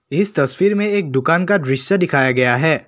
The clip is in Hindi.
इस तस्वीर में एक दुकान का दृश्य दिखाया गया है।